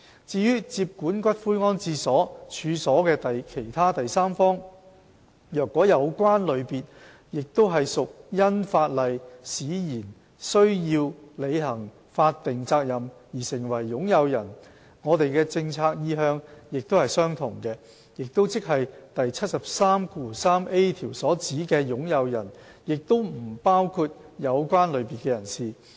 至於接管骨灰安置所處所的其他第三方，若有關類別也屬因法例使然須履行法定責任而成為擁有人，我們的政策意向也是相同的，即第 733a 條所指的"擁有人"也不包括有關類別的人士。